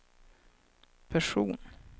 person